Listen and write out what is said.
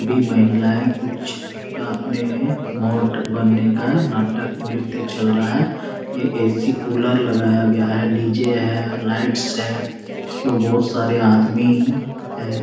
B महिलाये कुछ अपने मोट बन्ने का नाटक नृत्य चल रहा है। ये ए.सी. कूलर लगाया गया है। डी.जे. है लाइट्स है। उसके बहोत सारे आदमी है।